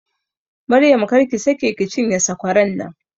Maryam, kar ki sake ki cinye sakwaran nan!